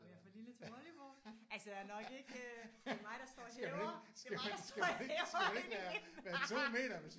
Om jeg er for lille til volleyball? Altså nok ikke det er mig der står og hæver det er mig der står og hæver inde i midten